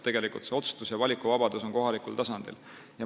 Tegelikult on see otsustus- ja valikuvabadus kohalikul tasandil.